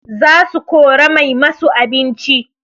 Za su kora mai masu abinci